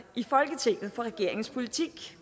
i folketinget for regeringens politik